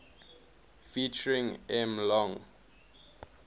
ft m long